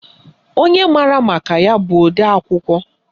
Onye maara maka ya bụ odeakwụkwọ